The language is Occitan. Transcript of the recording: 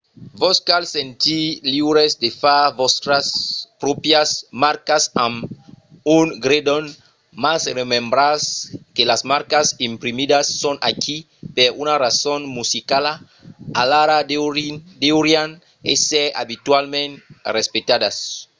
vos cal sentir liures de far vòstras pròprias marcas amb un gredon mas remembratz que las marcas imprimidas son aquí per una rason musicala alara deurián èsser abitualament respectadas